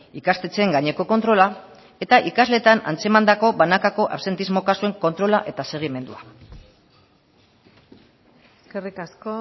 ikastetxeen gaineko kontrola eta ikasleetan antzemandako banakako absentismo kasuen kontrola eta segimendua eskerrik asko